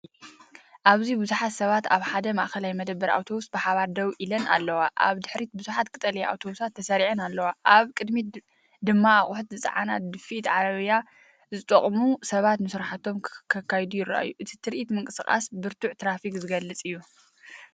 ኣብዚ ብዙሓት ሰባት ኣብ ሓደ ማእከላይ መደበር ኣውቶቡስ ብሓባር ደው ኢሎም ኣለዉ። ኣብ ድሕሪት ብዙሓት ቀጠልያ ኣውቶቡሳት ተሰሪዐን ኣለዋ፡ኣብ ቅድሚት ድማ ኣቑሑት ዝጸዓና ድፍኢት ዓረብያታት ዝጥቀሙ ሰባት ንስራሕቶም ክኸዱ ይረኣዩ። እቲ ትርኢትምንቅስቓስ ብርቱዕ ትራፊክ ዝገልጽ እዩ።